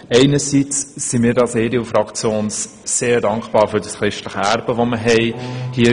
Einerseits sind wir als EDU-Fraktion sehr für unser christliches Erbe dankbar.